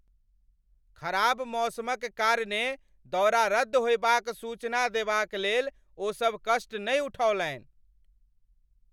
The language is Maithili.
खराब मौसमक कारणेँ दौरा रद्द होयबाक सूचना देबाक लेल ओ सभ कष्ट नहि उठौलनि।